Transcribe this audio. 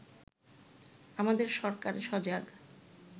আমাদের সরকার সজাগ